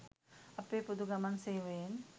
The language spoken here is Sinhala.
අපේ පොදු ගමන් සේවයෙන්